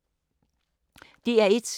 DR1